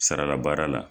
Sarala baara la